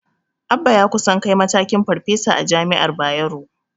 Abba ya kusan kai matakin Farfesa a jami'ar Bayero.